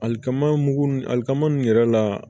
Alikama mugu ni alikama nin yɛrɛ la